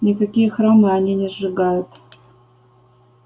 никакие храмы они не сжигают